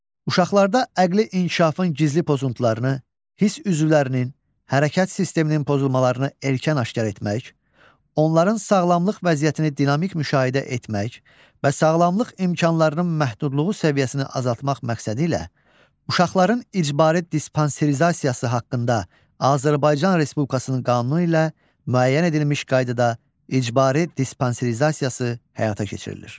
Uşaqlarda əqli inkişafın gizli pozuntularını, hiss üzvlərinin, hərəkət sisteminin pozulmalarını erkən aşkar etmək, onların sağlamlıq vəziyyətini dinamik müşahidə etmək və sağlamlıq imkanlarının məhdudluğu səviyyəsini azaltmaq məqsədi ilə uşaqların icbari dispanserizasiyası haqqında Azərbaycan Respublikasının qanunu ilə müəyyən edilmiş qaydada icbari dispanserizasiyası həyata keçirilir.